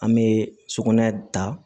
An bɛ sugunɛ ta